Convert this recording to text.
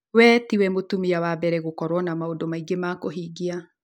We tiwe mũtumia wa mbere gũkorwo na maũndũmaingĩ ma kũhingia.